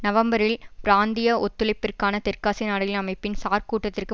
நவம்பரில் பிராந்திய ஒத்துழைப்பிற்கான தெற்காசிய நாடுகளின் அமைப்பின் சார் கூட்டத்திற்கு